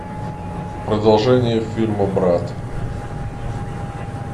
продолжение фильма брат